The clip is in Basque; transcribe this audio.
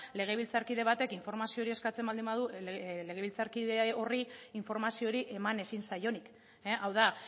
legebiltzarkide batek informazio hori eskatzen baldin badu legebiltzarkide horri informazio hori eman ezin zaionik hau da